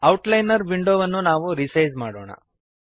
outliner ವಿಂಡೋವನ್ನು ನಾವು resize ಮಾಡೋಣ